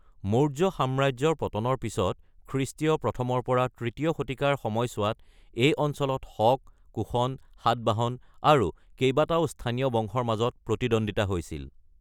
মৌৰ্য সাম্ৰাজ্যৰ পতনৰ পিছত, খ্ৰীষ্টীয় প্ৰথমৰ পৰা তৃতীয় শতিকাৰ সময়ছোৱাত এই অঞ্চলত শক, কুষণ, সাতবাহন আৰু কেইবাটাও স্থানীয় বংশৰ মাজত প্ৰতিদ্বন্দ্বিতা হৈছিল।